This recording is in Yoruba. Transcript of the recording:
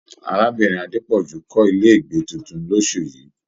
Arábìnrin Adepoju kọ ilé ìgbé títún l'osu yìí